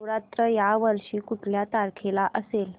नवरात्र या वर्षी कुठल्या तारखेला असेल